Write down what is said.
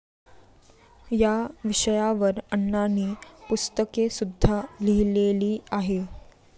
या विषयावर अण्णांनी पुस्तकेसुद्धा लिहिलेली आहेत.